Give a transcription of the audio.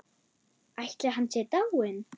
Ætli hann sé dáinn.